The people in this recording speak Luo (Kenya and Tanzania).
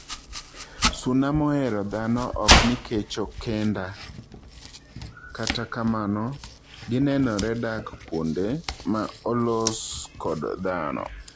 Suna mohero dhano okni kecho kenda kata kamano ginenore dak kuonde ma olos kod dhano